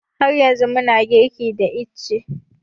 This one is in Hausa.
Har yanzu muna girki da ice